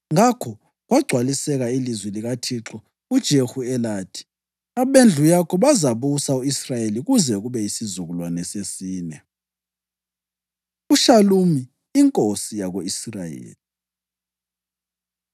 + 15.12 2 Amakhosi 10.30Ngakho kwagcwaliseka ilizwi likaThixo kuJehu elathi: “Abendlu yakho bazabusa u-Israyeli kuze kube yisizukulwane sesine.” UShalumi Inkosi Yako-Israyeli